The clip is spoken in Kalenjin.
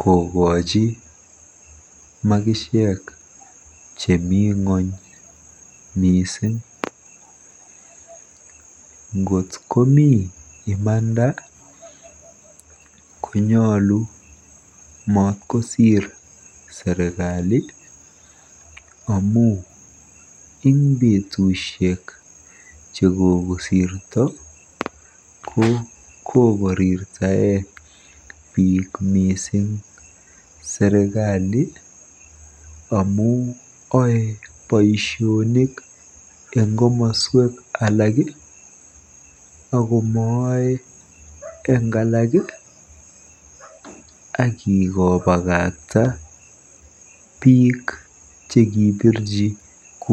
kokochi makisiek che mi ng'ony mising. Ngot komi imanda konyolu maat kosiir serikali amu eng betusiek chekokosirto ko kokorirtaei biik mising serikali amu oei boisiet eng komoswek alak akomooei eng alaak akikobakakta biik chekibirji kura.